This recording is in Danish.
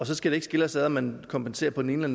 så skal det ikke skille os om man kompenserer på den ene